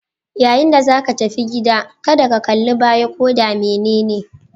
Yayin da zaka tafi gida, kada ka kallibaya ko da menene